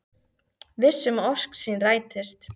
Viss um að ósk sín rætist.